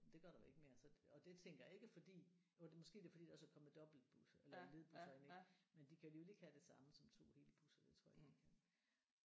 Det gør der jo ikke mere så og det tænker jeg ikke er fordi jo det måske det er fordi der er kommet dobbeltbusser eller ledbusser ind ik men de kan alligevel ikke have det samme som 2 hele busser det tror jeg ikke de kan